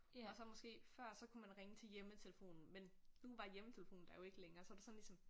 Og så måske før så kunne man ringe til hjemmetelefonen men nu var hjemmetelefonen der jo ikke længere så var det sådan ligesom